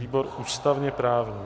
Výbor ústavně-právní.